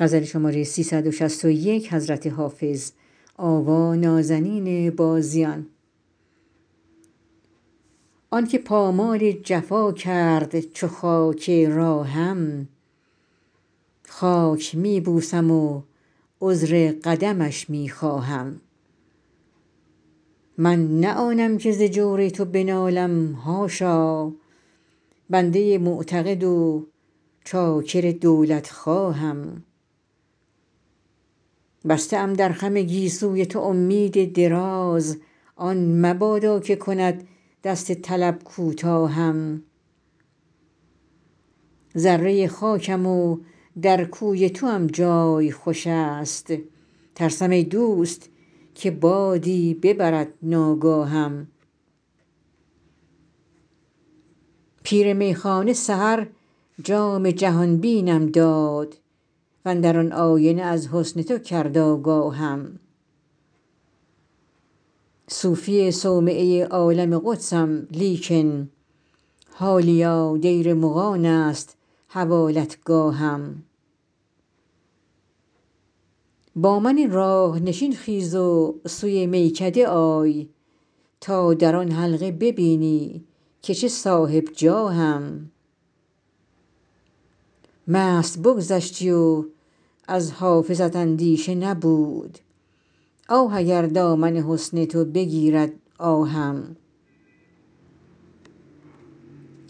آن که پامال جفا کرد چو خاک راهم خاک می بوسم و عذر قدمش می خواهم من نه آنم که ز جور تو بنالم حاشا بنده معتقد و چاکر دولتخواهم بسته ام در خم گیسوی تو امید دراز آن مبادا که کند دست طلب کوتاهم ذره خاکم و در کوی توام جای خوش است ترسم ای دوست که بادی ببرد ناگاهم پیر میخانه سحر جام جهان بینم داد و اندر آن آینه از حسن تو کرد آگاهم صوفی صومعه عالم قدسم لیکن حالیا دیر مغان است حوالتگاهم با من راه نشین خیز و سوی میکده آی تا در آن حلقه ببینی که چه صاحب جاهم مست بگذشتی و از حافظت اندیشه نبود آه اگر دامن حسن تو بگیرد آهم